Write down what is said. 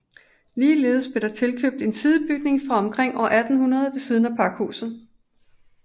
Ligeledes blev der tilkøbt en sidebygning fra omkring år 1800 ved siden af pakhuset